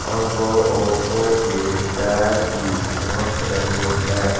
और दो औरतों के पैर भी चमक रहे हैं।